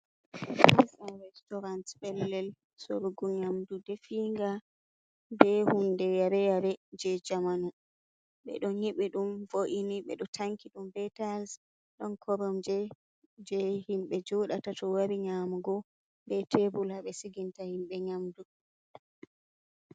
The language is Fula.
Fas an restorant pellel sorgu nyamdu definga be hunde yareyare je jamanu, ɓe ɗo nyibi dum vo’ini ɓe ɗo tanki ɗum be tayis ɗon koromje je himbe joɗata to wari nyamugo be tebul haɓe siginta himbe nyamdu.